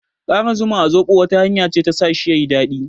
Ƙara zuma a zoɓo wata hanya ce ta sa shi yayi daɗi.